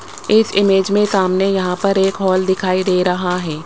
इस इमेज में सामने यहां पर एक हॉल दिखाई दे रहा है।